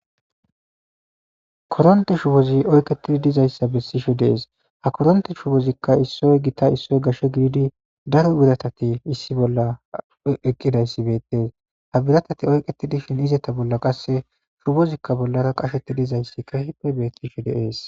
koronti shuwozi oyqetidi dizayssa bessishu dees ha koronti shuwozikka issoy gita issoy gashshe giidi daro biratati issi bolla eqqidayssi bettees ha biratati oyqetidishin izeta bolla qasse shubozikka bollara qasheti dizayssi ka hipe bettishu deees.